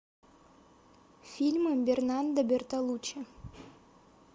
фильмы бернардо бертолуччи